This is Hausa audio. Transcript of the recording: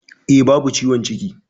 E, babu ciwon ciki.